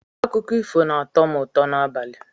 Akụkọ ifo na-atọ m ụtọ n'abalị